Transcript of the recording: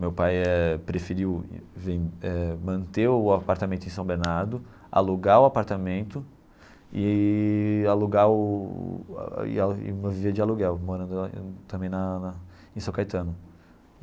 Meu pai eh preferiu ven manter o apartamento em São Bernardo, alugar o apartamento e alugar o e viver de aluguel, morando também na na em São Caetano.